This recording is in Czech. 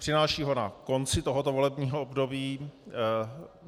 Přináší ho na konci tohoto volebního období.